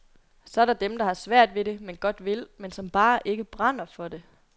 Så er der dem, der har svært ved det, men godt vil, men som bare ikke brænder for det.